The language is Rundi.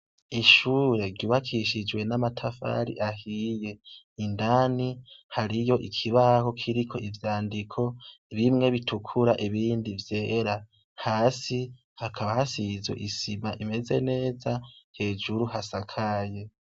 Ishuri ryubakishije n'amatafari ahiye indani hariyo ikibaho kiriko ivyandiko bimwe bitukura ibindi vyera hasi hakaba hasizwe isima imeze neza hejuru hasakaye.